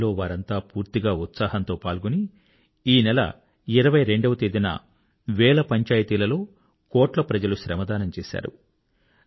ఈ పనిలో వారంతా పూర్తిగా ఉత్సాహంతో పాల్గొని ఈ నెల 22 వ తేదీన వేల పంచాయతీలలో కోట్ల ప్రజలు శ్రమదానం చేశారు